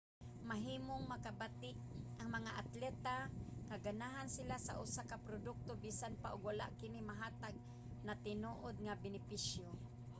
mahimong makabati ang mga atleta nga ganahan sila sa usa ka produkto bisan pa og wala kini mahatag na tinuod nga benepisyo